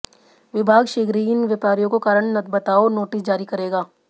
विभाग शीघ्र ही इन व्यापारियों को कारण बताओ नोटिस जारी करेगा